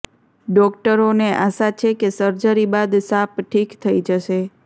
ડોક્ટરોને આશા છે કે સર્જરી બાદ સાપ ઠીક થઈ જશે